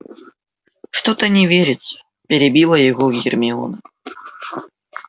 что-то не верится перебила его гермиона